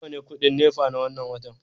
nawa ne kudin NEPA na wannan watan